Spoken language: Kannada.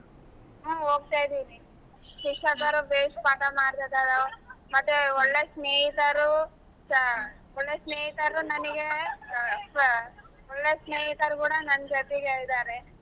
ಹು ಹೋಗ್ತಾ ಇದಿವಿ ಶಿಕ್ಷಕರು ಬೇಸ್ ಪಾಠ ಮಾಡತದರ ಮತ್ತೆ ಒಳ್ಳೆ ಸ್ನೇಹಿತರು ಒಳ್ಳೆ ಸ್ನೇಹಿತರು ನನಗೆ ಒಳ್ಳೆ ಸ್ನೇಹಿತರು ಕೂಡ ನನ್ ಜೊತೆಗೆ ಇದಾರೆ.